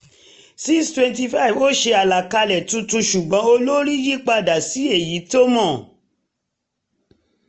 625 ó ṣe àlàkalẹ̀ tuntun ṣùgbọ́n olórí yí padà sí èyí tó mọ